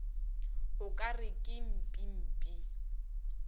o ka re ke mpimpi